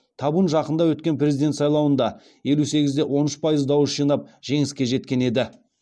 табун жақында өткен президент сайлауында елу сегізде он үш пайыз дауыс жинап жеңіске жеткен еді